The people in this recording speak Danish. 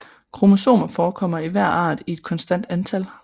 Kromosomer forekommer i hver art i et konstant antal